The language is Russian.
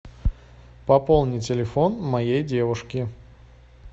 пополни телефон моей девушки